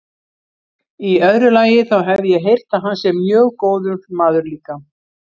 Í öðru lagi, þá hef ég heyrt að hann sé mjög góður maður líka.